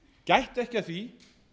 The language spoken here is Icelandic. gættu ekki að því